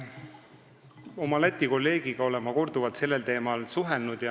Ma olen oma Läti kolleegiga korduvalt sellel teemal suhelnud.